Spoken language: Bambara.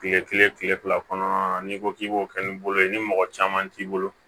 Kile kelen kile fila kɔnɔna na n'i ko k'i b'o kɛ ni bolo ye ni mɔgɔ caman t'i bolo